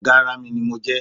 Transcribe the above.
Ọ̀gá ara mi ni mo jẹ́